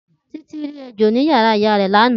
Titi ri ejo ni yara iya re lana.